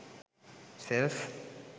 sells